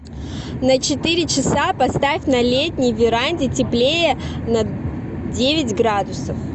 на четыре часа поставь на летней веранде теплее на девять градусов